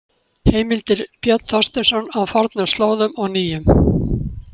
Heimildir Björn Þorsteinsson: Á fornum slóðum og nýjum.